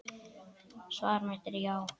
Svar mitt er já.